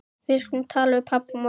Við skulum tala við pabba á morgun.